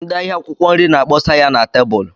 Ndị ahịa akwụkwọ nri na-akpọsa ya na tebụlụ.